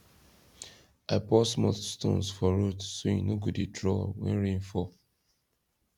i pour small stones for road so e no go dey draw when rain fall